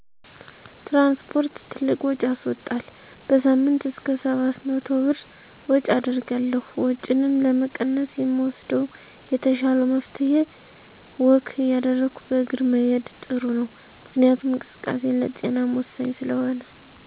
ትራንስፖርት ትልቅ ውጭ ያስዎጣል። በሳምንይ እስከ 700 ብር ወጭ አደርጋለሁ። ወጭንም ለመቀነስ የምወስደው የተሻለው መፍትሄ ወክ እያደረጉ በእግር መሄድ ጥሩ ነው። ምክንያቱም እንቅስቃሴ ለጤናም ወሳኝ ስለሆነ።